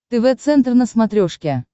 тв центр на смотрешке